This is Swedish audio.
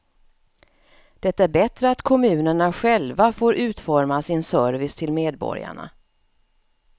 Det är bättre att kommunerna själva får utforma sin service till medborgarna.